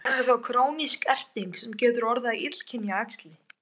Verður þá krónísk erting sem getur orðið að illkynja æxli.